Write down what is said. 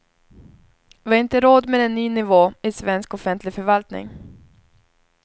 Vi har inte råd med en ny nivå i svensk offentlig förvaltning.